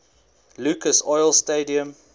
lucas oil stadium